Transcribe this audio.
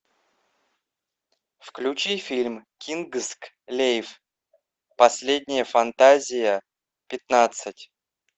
включи фильм кингсглейв последняя фантазия пятнадцать